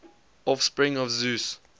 offspring of zeus